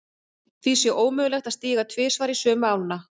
Því sé ómögulegt að stíga tvisvar í sömu ána.